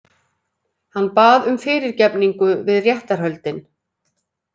Hann bað um fyrirgefningu við réttarhöldin